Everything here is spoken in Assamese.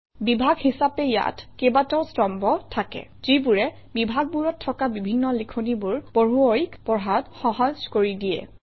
বিভাগ হিচাপে ইয়াত কেইবাটাও স্তম্ভ থাকে যিবোৰে বিভাগবোৰত থকা বিভিন্ন লিখনিবোৰ পঢ়ুৱৈক পঢ়াত সহজ কৰি দিয়ে